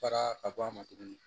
Fara ka bɔ a ma tuguni